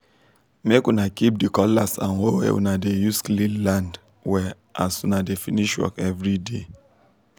make una keep the cutlass and hoe wey una dey use clean land well as una dey finsh work everyday